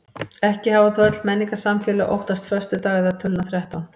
Ekki hafa þó öll menningarsamfélög óttast föstudag eða töluna þrettán.